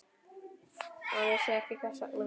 Hann vissi ekki hvers vegna.